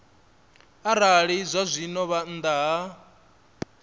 arali zwazwino vha nnḓa ha